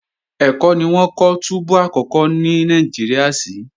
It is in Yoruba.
Ẹ̀kọ́ ni wọ́n kọ́ túbú àkọ́kọ́ ní Nàìjíríà sí